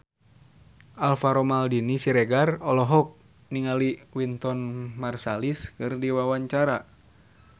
Alvaro Maldini Siregar olohok ningali Wynton Marsalis keur diwawancara